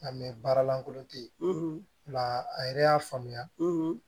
baara lankolon te yen nka a yɛrɛ y'a faamuya